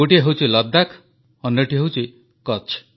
ଗୋଟିଏ ହେଉଛି ଲଦ୍ଦାଖ ଅନ୍ୟଟି ହେଉଛି କଚ୍ଛ